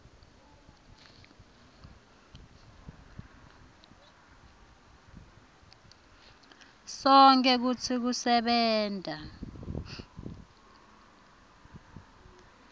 sonkhe kutsi kusebenta